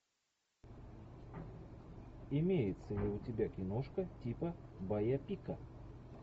имеется ли у тебя киношка типа байопика